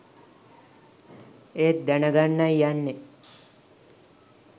ඒත් දැන ගන්නයි යන්නේ”